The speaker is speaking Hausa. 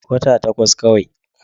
Wata takwas kawai.